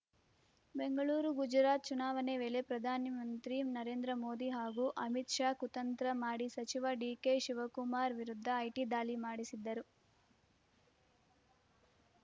ಬೆಂಗಳೂರು ಗುಜರಾತ್‌ ಚುನಾವಣೆ ವೇಳೆ ಪ್ರಧಾನಮಂತ್ರಿ ನರೇಂದ್ರ ಮೋದಿ ಹಾಗೂ ಅಮಿತ್‌ಶಾ ಕುತಂತ್ರ ಮಾಡಿ ಸಚಿವ ಡಿಕೆ ಶಿವಕುಮಾರ್‌ ವಿರುದ್ಧ ಐಟಿ ದಾಳಿ ಮಾಡಿಸಿದ್ದರು